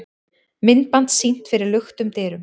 Myndband sýnt fyrir luktum dyrum